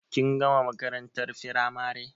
Kin gama makarantar firamare